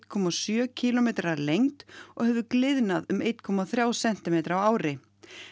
komma sjö kílómetrar að lengd og hefur gliðnað um einn komma þrjá sentímetra á ári